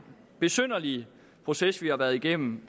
besynderlige proces vi har været igennem